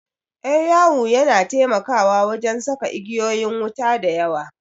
Ƴar yawu yana taimakawa wajan saka igeyoyin wuta da yawa